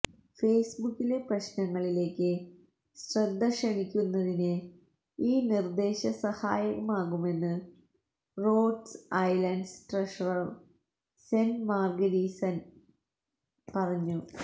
ഫേസ്ബുക്കിലെ പ്രശ്നങ്ങളിലേക്ക് ശ്രദ്ധക്ഷണിക്കുന്നതിന് ഈ നിര്ദേശം സഹായകമാകുമെന്ന് Rhode Island treasurer Seth Magaziner പറഞ്ഞു